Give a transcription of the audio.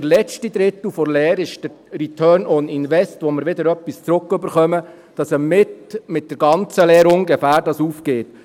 Der letzte Drittel der Lehre ist der «Return on Investment», wo wir wieder etwas zurückerhalten, sodass es mit der ganzen Lehre ungefähr aufgeht.